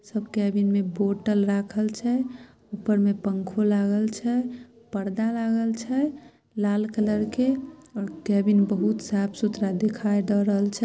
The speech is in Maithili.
सब केबिन में बोटल राखल छ ऊपर में पंखों लागल छ पर्दा लागल छ लाल कलर ओर केबिन बहुत साफ सुथरा दिखाई द रहल छ।